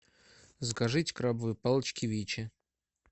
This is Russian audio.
закажите крабовые палочки вичи